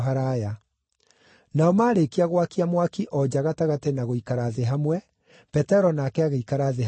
Nao maarĩkia gwakia mwaki o nja gatagatĩ na gũikara thĩ hamwe, Petero nake agĩikara thĩ hamwe nao.